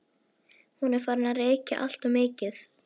Hún er farin að reykja alltof mikið.